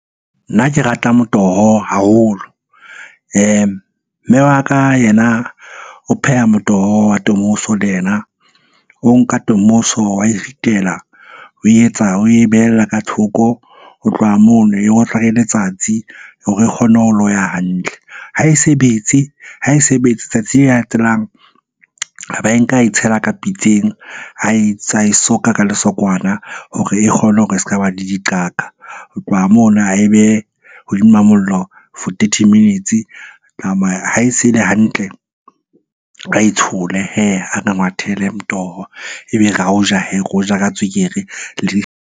Nna ke rata motoho haholo. Mme wa ka yena o pheha motoho wa tomoso le yena. O nka tomoso wa e ritela. O etsa, oe behella ka thoko. Ho tloha mono e otlwa ke letsatsi hore e kgone ho loya hantle. Ha e se betse, ha e se betse letsatsi le latelang. A ba e nka ae tshela ka pitseng soka ka lesokwana hore e kgone hore e s'ka ba le diqaka. Ho tloha mono ae behe hodima mollo for thirty minutes. Ha e se e le hantle, ae tshole hee a re ngwathele motoho. Ebe re ao ja hee, re o ja ka tswekere .